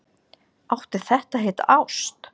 Átti þetta að heita ást?